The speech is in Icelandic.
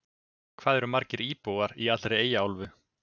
Hvað eru margir íbúar í allri Eyjaálfu?